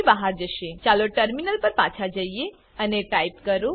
થી બહાર જશે ચલો ટર્મિનલ પર પાછા જઈએ અને ટાઈપ કરો